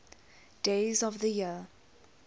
days of the year